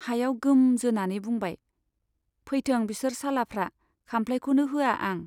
हायाव गोम जोनानै बुंबाय , फैथों बिसोर सालाफ्रा, खाम्फ्लाइखौनो होआ आं।